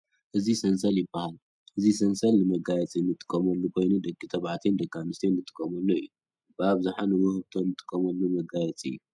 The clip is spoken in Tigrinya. እዚ ሰንሰል ይባሃል ። እዚ ሰንሰል ንመጋየፂ እንጥቀመሉ ኮይኑ ደቂ ተባዕትዮን ደቂ ኣነስትዮን እንጥቀመሉ እዩ። ብኣብዝሓ ንውህብቶ እንጥቀመሉ መጋየፂ እዩ።